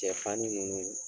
Cɛ fani ninnu